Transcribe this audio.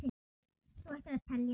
Þú ættir að telja það.